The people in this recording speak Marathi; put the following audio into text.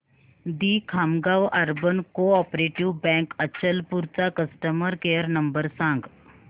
दि Khamgaon urban cooperative bank Achalpur चा कस्टमर केअर नंबर सांग